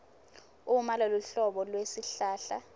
uma loluhlobo lwesihlahla